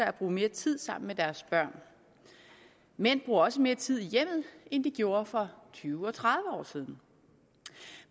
at bruge mere tid sammen med deres børn mænd bruger også mere tid i hjemmet end de gjorde for tyve og tredive år siden